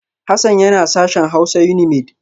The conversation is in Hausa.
Hassan yana sashen Hausa Unimaid